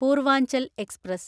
Purvanchal express